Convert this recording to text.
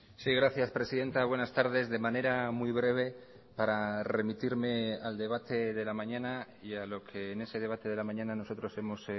sí gracias presidenta buenas tardes de manera muy breve para remitirme al debate de la mañana y a lo que en ese debate de la mañana nosotros hemos